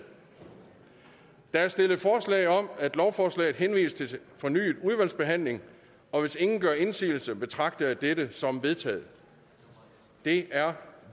der er stillet forslag om at lovforslaget henvises til fornyet udvalgsbehandling og hvis ingen gør indsigelse betragter jeg dette som vedtaget det er